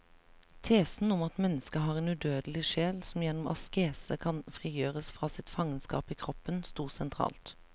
Tesen om at mennesket har en udødelig sjel som gjennom askese kan frigjøres fra sitt fangenskap i kroppen, stod sentralt.